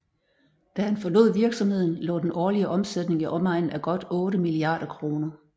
Da han forlod virksomheden lå den årlige omsætning i omegnen af godt otte milliarder kroner